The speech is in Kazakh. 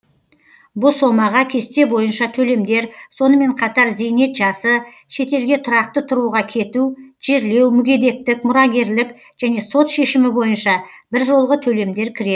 бұл сомаға кесте бойынша төлемдер сонымен қатар зейнет жасы шетелге тұрақты тұруға кету жерлеу мүгедектік мұрагерлік және сот шешімі бойынша біржолғы төлемдер кіреді